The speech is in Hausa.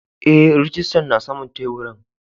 Eh rijistan na saman taburin.